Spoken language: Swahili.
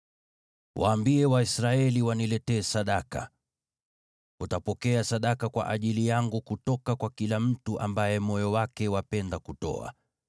“Waambie Waisraeli waniletee sadaka. Utapokea sadaka kwa niaba yangu kutoka kwa kila mtu ambaye moyo wake wapenda kutoa.